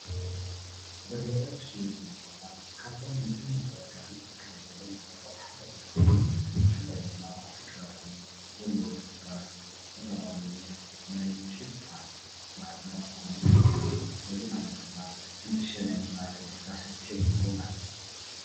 በርበረ ዝሽየጠሉ ቦታ ካብቶም ንግድን ምትዕድዳግን ዝካየደሎም ቦታታት ሓደ እንትከውን ብፍላይ ድማ ኣብቲ ከባቢ ዘለው ሰፈራት ዝተፈላለዩ ናይ ሽታ መዓድናት ክኾኑ ይክእሉ እዚ ማለት ድማ ሕንጥሸ ናይ ምባል ዕድል ከስዕብ ሰፊሕ እዩ ማለት እዩ፡፡